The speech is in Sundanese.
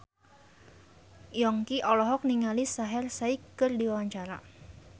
Yongki olohok ningali Shaheer Sheikh keur diwawancara